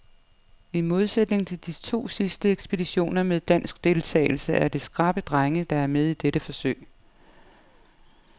I modsætning til de to sidste ekspeditioner med dansk deltagelse er det skrappe drenge, der er med i dette forsøg.